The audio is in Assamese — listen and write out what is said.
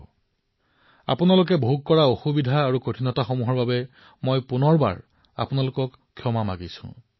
মই পুনৰবাৰ আপোনালোকে যি অসুবিধাৰ সন্মুখীন হবলগীয়া হৈছে তাৰবাবে ক্ষমা বিচাৰিছো